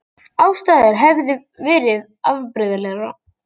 Aðstæður hefði verið afbrigðilegar